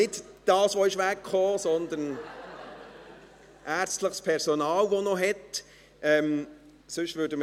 Nicht das, was wegekommen ist, sondern es ist ärztliches Personal, das noch welches hat.